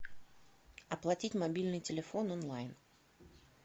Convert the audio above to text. оплатить мобильный телефон онлайн